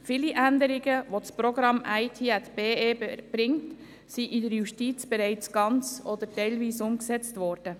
Viele Änderungen, die das Programm IT@BE bringt, sind in der Justiz bereits ganz oder teilweise umgesetzt worden.